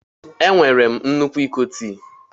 Enwere m nnukwu iko tii.